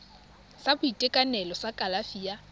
sa boitekanelo sa kalafi ya